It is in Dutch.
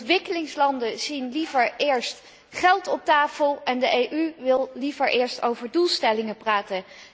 Ontwikkelingslanden zien liever eerst geld op tafel en de EU wil liever eerst over doelstellingen praten.